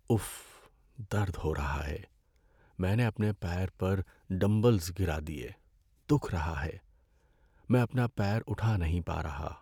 If! درد ہو رہا ہے۔ میں نے اپنے پیر پر ڈمبلز گرا دیے، دُکھ رہا ہے۔ میں اپنا پیر اٹھا نہیں پا رہا۔